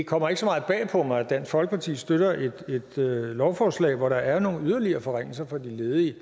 kommer ikke så meget bag på mig at dansk folkeparti støtter et lovforslag hvor der er nogle yderligere forringelser for de ledige